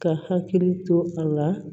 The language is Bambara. Ka hakili to a la